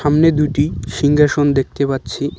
সামনে দুইটি সিংহাসন দেখতে পাচ্ছি।